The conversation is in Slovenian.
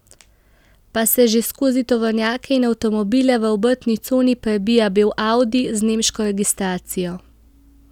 Pa se že skozi tovornjake in avtomobile v obrtni coni prebija beli audi z nemško registracijo.